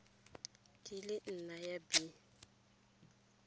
di le nne ya b